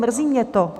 Mrzí mě to.